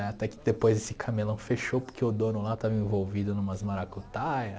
Né até que depois esse camelão fechou porque o dono lá estava envolvido em umas maracutaia.